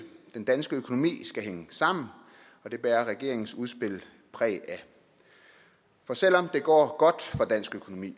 den danske økonomi skal hænge sammen og det bærer regeringens udspil præg af for selv om det går godt for dansk økonomi